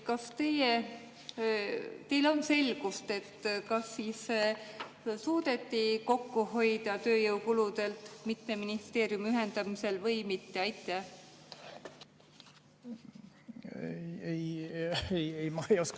Kas teil on selgust, kas siis suudeti kokku hoida tööjõukulusid mitme ministeeriumi ühendamisel või mitte?